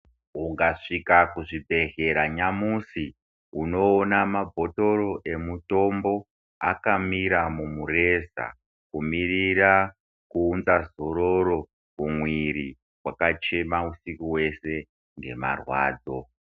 Ukasvika muzvibhedhlera nyamashi unoona mabhotoro emutombo akamira mumureza kumirira kuunza zororo mumwiri wakachena kuti nemarwadzo.